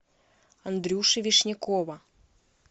андрюши вишнякова